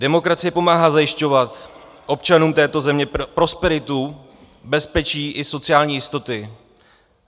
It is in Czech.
Demokracie pomáhá zajišťovat občanům této země prosperitu, bezpečí i sociální jistoty.